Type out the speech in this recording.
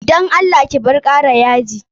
Dan Allah ki bar kara yaji.